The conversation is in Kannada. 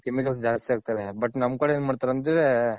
Chemical ಜಾಸ್ತಿ ಹಾಕ್ತಾರೆ but ನಮ್ ಕಡೆ ಏನ್ ಮಾಡ್ತಾರೆ ಅಂದ್ರೆ.